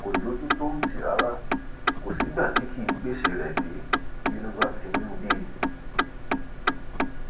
kò lójú tó ń tì rárá kò sígbà tí kì í gbéṣẹ rẹ dé bínú bá ti ń bí i